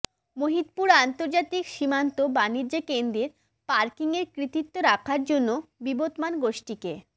মহদিপুর আন্তর্জাতিক সীমান্ত বাণিজ্য কেন্দ্রের পার্কিংয়ের কর্তৃত্ব রাখার জন্য বিবদমান গোষ্ঠীকে